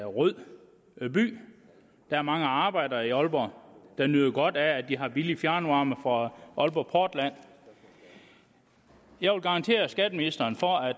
rød by der er mange arbejdere i aalborg der nyder godt af at de har billig fjernvarme fra aalborg portland jeg vil garantere skatteministeren for at